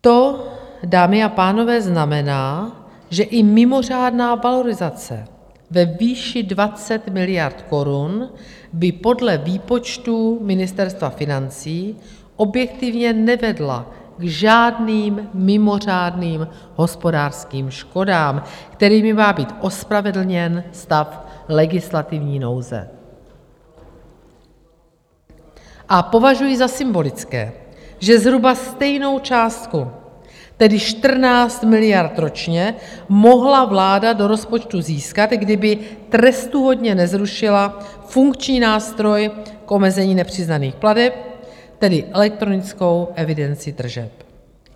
To, dámy a pánové, znamená, že i mimořádná valorizace ve výši 20 miliard korun by podle výpočtů Ministerstva financí objektivně nevedla k žádným mimořádným hospodářským škodám, kterými má být ospravedlněn stav legislativní nouze, a považuji za symbolické, že zhruba stejnou částku, tedy 14 miliard ročně, mohla vláda do rozpočtu získat, kdyby trestuhodně nezrušila funkční nástroj k omezení nepřiznaných plateb, tedy elektronickou evidenci tržeb.